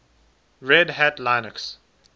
red hat linux